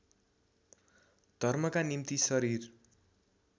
धर्मका निम्ति शरीर